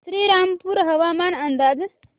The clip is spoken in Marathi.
श्रीरामपूर हवामान अंदाज